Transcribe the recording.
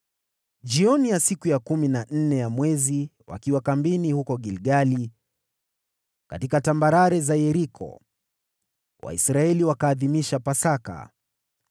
Jioni ya siku ya kumi na nne ya mwezi, wakiwa kambini huko Gilgali katika tambarare za Yeriko, Waisraeli wakaadhimisha Pasaka.